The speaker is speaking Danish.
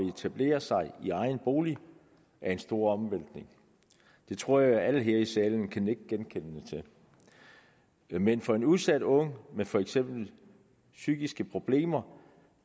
at etablere sig i egen bolig en stor omvæltning det tror jeg alle her i salen kan nikke genkendende til men for en udsat ung med for eksempel psykiske problemer